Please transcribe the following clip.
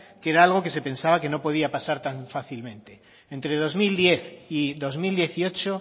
que era algo que se pensaba que no podía pasar tan fácilmente entre dos mil diez y dos mil dieciocho